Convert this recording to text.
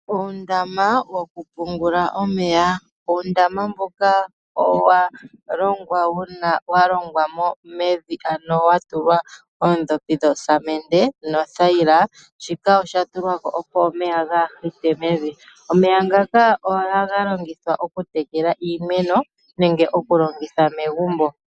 Uundama woku pungula omeya, uundama mboka owa longwa wuna wa longwa mevi ano wa tulwa oondhopi dho samende nothayila. Shika osha tulwa ko opo omeya gaa hite mevi. Omeya ngaka ohaga longithwa oku tekela iimeno nenge oku longitha megumbo.